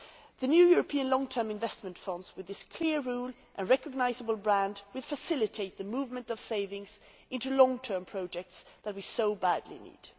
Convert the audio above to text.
The new European long term investment funds, with this clear rule and recognisable brand will facilitate the movement of savings into the long term projects that we so badly need.